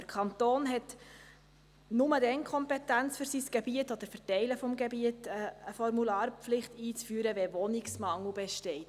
Der Kanton hat nur dann die Kompetenz, für sein Gebiet oder für Teile des Gebiets eine Formularpflicht einzuführen, wenn Wohnungsmangel besteht.